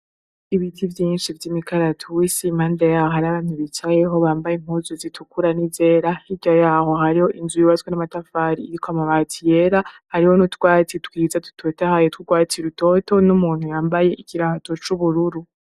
Ibiti vyinshi vy'imikaratusi, impande yaho hari abantu bicayeho bambaye impuzu zitukura n'izera, hirya yaho hariho inzu yubatswe n'amatafari iriko amabati yera, hariho n'utwatsi twiza dutotahaye t'urwatsi rutoto, n'umuntu yambaye ikirato c'ubururu.